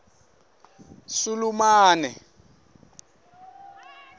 sulumane